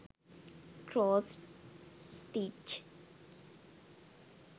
cross stitch